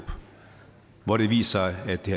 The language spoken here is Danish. hvor det viser sig at det